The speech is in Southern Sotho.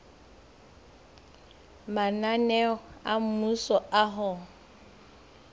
mananeo a mmuso a ho